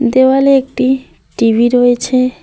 দেওয়ালে একটি টি_ভি রয়েছে।